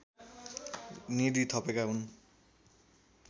निधि थपेका हुन्